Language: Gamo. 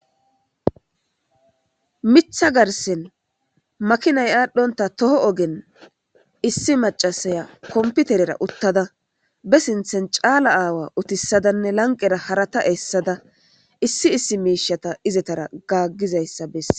mitha garsen makinay aadhdhonta toho ogen issi macasaya komputerera uttada be sinthen caala aawa utissadanne lanqera harata eessada issi issi miishata izetara gaaggizayssa besses